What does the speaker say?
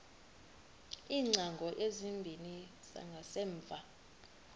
iingcango ezimbini zangasemva